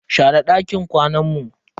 Share dakin kwanan mu.